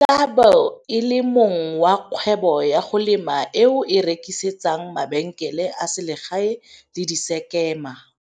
O tla be e le mong wa kgwebo ya go lema eo e rekisetsang mabenkele a selegae le disekema.